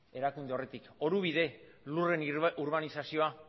erakunde horretatik orubide lurren urbanizazioa